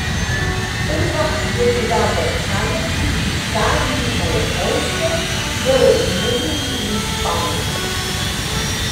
Prva je bila v Kanadi, Italiji, na Japonskem, v Romuniji in Španiji.